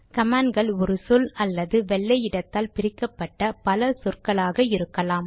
command கள் ஒரு சொல் அல்லது வெள்ளை இடத்தால் பிரிக்கப்பட்ட பல சொற்களாக இருக்கலாம்